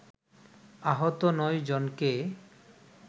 আহত নয় জনকে